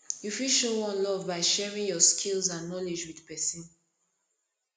you fit show one love by sharing your skills and knowledge with pesin